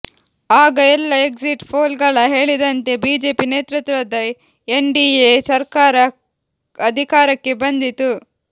ಆಗ ಎಲ್ಲ ಎಕ್ಸಿಟ್ ಪೋಲ್ಗಳು ಹೇಳಿದಂತೆ ಬಿಜೆಪಿ ನೇತೃತ್ವದ ಎನ್ಡಿಎ ಸರ್ಕಾರ ಅಧಿಕಾರಕ್ಕೆ ಬಂದಿತು